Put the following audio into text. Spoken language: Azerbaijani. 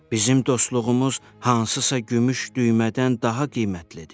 Bizim dostluğumuz hansısa gümüş düymədən daha qiymətlidir.